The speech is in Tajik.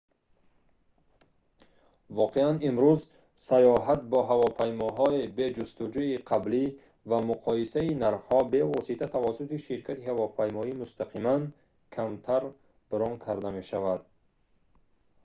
воқеан имрӯз сайёҳат бо ҳавопаймоҳо бе ҷустуҷӯи қаблӣ ва муқоисаи нархҳо бевосита тавассути ширкати ҳавопаймоӣ мустақиман камтар брон карда мешавад